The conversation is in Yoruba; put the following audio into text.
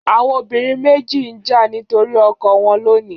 Àwọn obìnrin méjì ń jà nítorí ọkọ wọn lónìí.